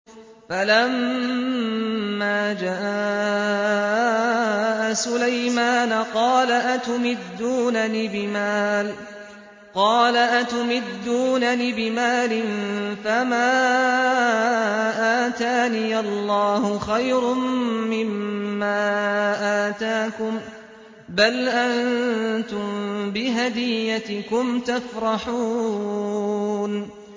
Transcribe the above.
فَلَمَّا جَاءَ سُلَيْمَانَ قَالَ أَتُمِدُّونَنِ بِمَالٍ فَمَا آتَانِيَ اللَّهُ خَيْرٌ مِّمَّا آتَاكُم بَلْ أَنتُم بِهَدِيَّتِكُمْ تَفْرَحُونَ